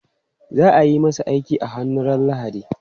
Za ayi masa aiki a hannu ran lahadi